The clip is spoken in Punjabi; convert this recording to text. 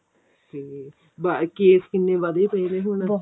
hm case ਕਿੰਨੇ ਵਧੇ ਪਏ ਆ ਨੇ ਹੁਣ